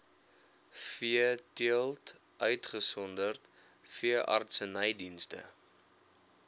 veeteelt uitgesonderd veeartsenydienste